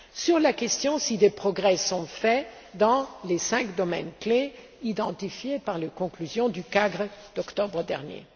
concernant la question de savoir si des progrès sont faits dans les cinq domaines clés identifiés par les conclusions du CAGRE d'octobre dernier.